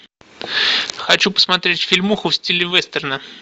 хочу посмотреть фильмуху в стиле вестерна